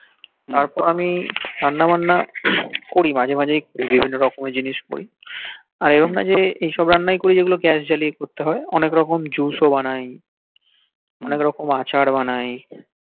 তারপর আমি রান্না বান্না করি বভিন্ন রকমের জিনিস করি আর এমন নই যে এইসব রান্নাই করি যেগুলো গ্যাস জালিয়া করতে হই অনেক্রকম juice ও বানাই অনেক রকম আচার বানাই